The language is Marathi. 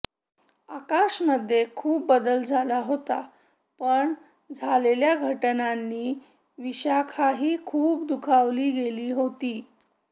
आकाशमध्ये खूप बदल झाला होता पण झालेल्या घटनांनी विशाखाही खूप दुखावली गेली होती